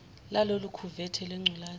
lalolu khuvethe lwengculazi